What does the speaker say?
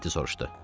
Mehdi soruşdu.